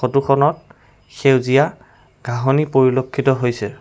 ফটোখনত সেউজীয়া ঘাঁহনি পৰিলক্ষিত হৈছে।